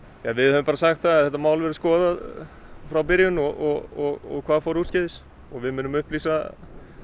við höfum bara sagt það að þetta mál verði skoðað frá byrjun og hvað fór úrskeiðis og við munum upplýsa